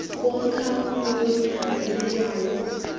komkhawulo wonyaka obekwayo